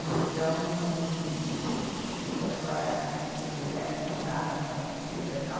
Então, sou daquela, eh né como se diz né, missão dada, missão cumprida tal.